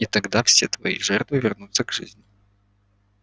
и тогда все твои жертвы вернутся к жизни